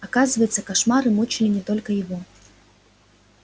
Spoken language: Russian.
оказывается кошмары мучили не только его